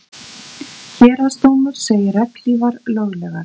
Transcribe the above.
Héraðsdómur segir regnhlífar löglegar